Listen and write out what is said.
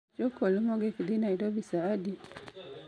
gach okolo mogik dhi Nairobi saa adi?